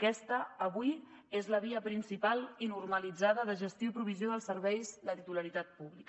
aquesta avui és la via principal i normalitzada de gestió i provisió dels serveis de titularitat pública